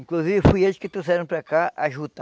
Inclusive, foi eles que trouxeram para cá a juta.